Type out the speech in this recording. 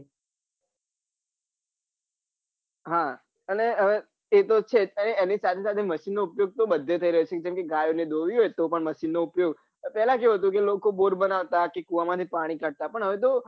હા અને તે તો છે જ અને સાથે સાથે machine નો ઉપયોગ તો બઘે થઈ રહ્યો છે જેમકે ગાય ને દોવી હોય તો પન machine નો ઉપયોગ પેલા કેવું હતું કે લોકો બોર બનાવતા કે કુવા માંથી પાણી કાઢતા પન હવે તો